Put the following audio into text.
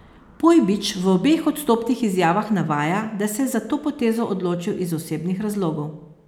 Pojbič v obeh odstopnih izjavah navaja, da se je za to potezo odločil iz osebnih razlogov.